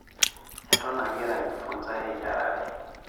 Eton agira aijifunza eyiarare.